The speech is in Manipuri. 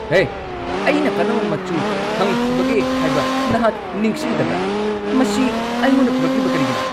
ꯍꯦ, ꯑꯩꯅ ꯀꯔꯝꯕ ꯃꯆꯨ ꯍꯪꯈꯤꯕꯒꯦ ꯍꯥꯏꯕ ꯅꯍꯥꯛ ꯅꯤꯡꯁꯤꯡꯗꯕ꯭ꯔꯥ? ꯃꯁꯤ ꯑꯩꯉꯣꯟꯗ ꯄꯨꯔꯛꯂꯤꯕ ꯀꯔꯤꯒꯤꯅꯣ?